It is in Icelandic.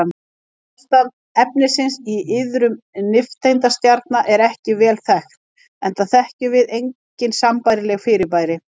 Ástand efnisins í iðrum nifteindastjarna er ekki vel þekkt enda þekkjum við engin sambærileg fyrirbæri.